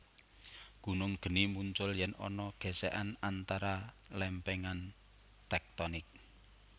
Gunung geni muncul yèn ana gèsèkan antara lèmpèngan tèktonik